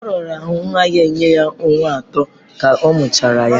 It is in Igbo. Ọ raara nwa ya nye ọnwa atọ ka a mụchara ya.